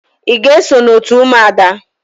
Ị ga-eso n'òtù ụmụada?